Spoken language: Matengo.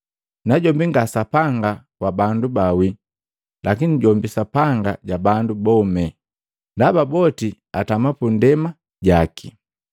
Najombi nga Sapanga wa bandu baawii lakini jombi Sapanga ja bandu bome. Ndaba boti atama pundema ndaba jaki.”